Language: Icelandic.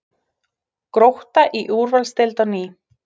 Grótta í úrvalsdeild á ný